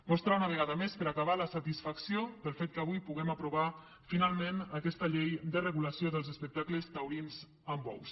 mostrar una vegada més per acabar la satisfacció pel fet que avui puguem aprovar finalment aquesta llei de regulació dels espectacles taurins amb bous